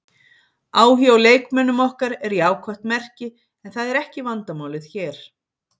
Áhugi á leikmönnum okkar er jákvætt merki en það er ekki vandamálið hér.